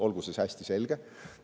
Olgu see hästi selge.